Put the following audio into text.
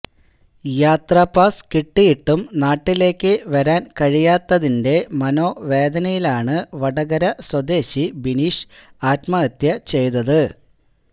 യാത്രാപാസ് കിട്ടിയിട്ടും നാട്ടിലേക്ക് വരാന് കഴിയാത്തതിന്റെ മനോവേദനയിലാണ് വടകര സ്വദേശി ബിനീഷ് ആത്മഹത്യ ചെയ്തത്